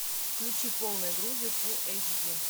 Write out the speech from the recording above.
включи полной грудью фул эйч ди